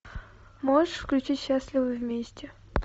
можешь включить счастливы вместе